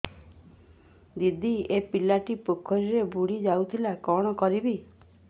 ଦିଦି ଏ ପିଲାଟି ପୋଖରୀରେ ବୁଡ଼ି ଯାଉଥିଲା କଣ କରିବି